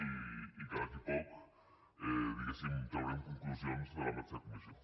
i que d’aquí a poc diguem ne traurem conclusions de la mateixa comissió